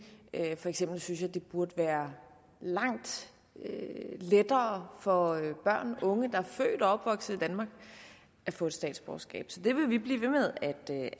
for eksempel synes jeg det burde være langt lettere for børn og unge der er født og opvokset i danmark at få et statsborgerskab så det vil vi blive ved med